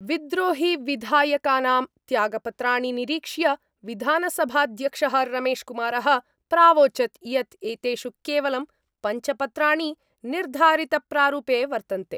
विद्रोहिविधायकानां त्यागपत्राणि निरीक्ष्य विधानसभाध्यक्ष: रमेशकुमारः प्रावोचत् यत् एतेषु केवलं पंच पत्राणि निर्धारितप्रारूपे वर्तन्ते।